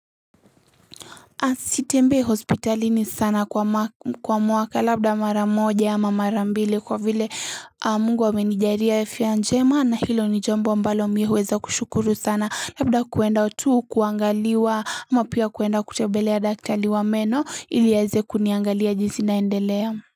Sitembei hospitalini sana kwa mwaka labda mara moja ama mara mbili kwa vile mungu amenijalia afya njema na hilo ni jambo ambalo mimi huweza kushukuru sana labda kuenda tu kuangaliwa ama pia kuenda kutembelea daktari wa meno ili aweze kuniangalia jinsi naendelea.